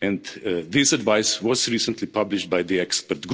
This advice was recently published by the expert